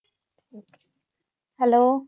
hello